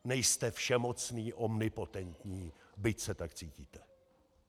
Nejste všemocný, omnipotentní, byť se tak cítíte.